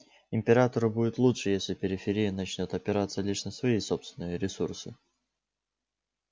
императору будет лучше если периферия начнёт опираться лишь на свои собственные ресурсы